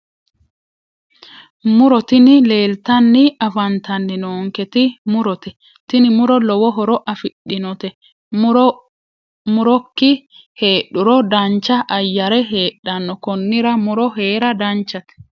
Muro tini leelttanni afantanni noonketi murote tini muro lowo horo afidhinote murok heedhuro dancha ayyare heedhanno konnira muro heera danchate